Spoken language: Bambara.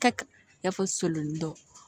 Kɛ i n'a fɔ solon dɔ